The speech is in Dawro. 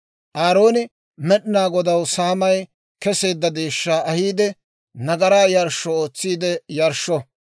Aarooni Med'inaa Godaw saamay keseedda deeshshaa ahiide, nagaraa yarshsho ootsiide yarshsho.